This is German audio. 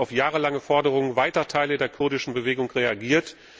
Sie hat damit auf jahrelange Forderungen weiter Teile der kurdischen Bewegung reagiert.